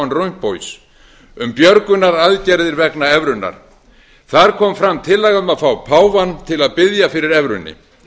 van rompuy um björgunaraðgerðir vegna evrunnar þar kom fram tillaga um að fá páfann til að biðja fyrir evrunni